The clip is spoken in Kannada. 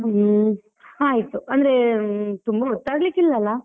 ಹ್ಮ್, ಆಯ್ತು ಅಂದ್ರೆ ತುಂಬಾ ಹೊತ್ತಾಗ್ಲಿಕ್ಕಿಲ್ಲ ಅಲ್ಲ?